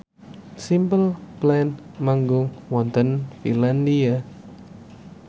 Simple Plan manggung wonten Finlandia